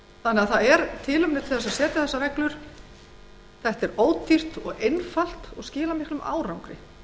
hópa það er því tilefni til þess að setja reglur um það það er ódýrt og einfalt og skilar miklum árangri